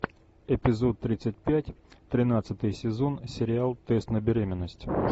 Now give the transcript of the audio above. эпизод тридцать пять тринадцатый сезон сериал тест на беременность